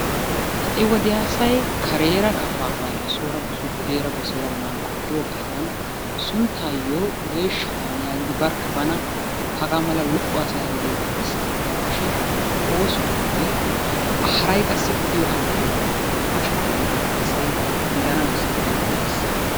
Ha'i wodiya asay kareera kafaafo ayo sooni buleera goseera manqqo giyodan sunttaayo geeshsha taani yagidi barkka bana haga mala lo''o hasaya haasayasona shin oosuwanninne haray qassi odiyo allaaliyan asha gidiyogaa asay giigana besses gidi dees.